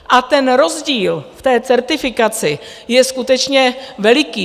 A ten rozdíl v té certifikaci je skutečně veliký.